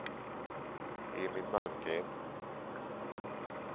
Emil Malmgren